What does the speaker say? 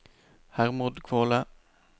Hermod Kvåle